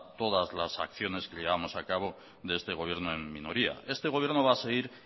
todas las acciones que llevamos a cabo de este gobierno en minoría este gobierno va a seguir